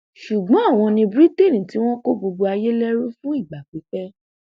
ṣùgbọn àwọn ni britian tí wọn kó gbogbo ayé lẹrú fún ìgbà pípẹ